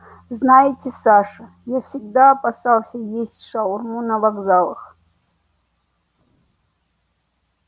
знаете саша я всегда опасался есть шаурму на вокзалах